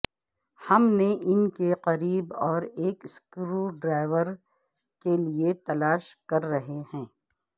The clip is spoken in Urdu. ہم نے ان کے قریب اور ایک سکریو ڈرایور کے لئے تلاش کر رہے ہیں